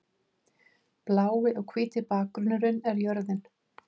Blái og hvíti bakgrunnurinn er jörðin.